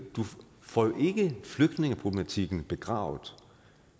får flygtningeproblematikken begravet